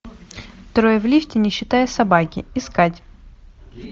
трое в лифте не считая собаки искать